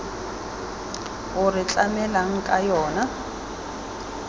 o re tlamelang ka yona